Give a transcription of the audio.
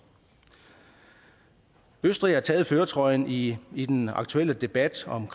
østrig har taget førertrøjen i i den aktuelle debat om